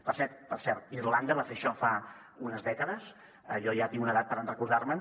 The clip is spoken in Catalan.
per cert irlanda va fer això fa unes dècades jo ja tinc una edat per recordar me’n